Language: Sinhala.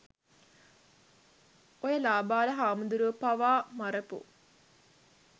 ඔය ලාබාල හාමුදුරුවෝ පවා මරපු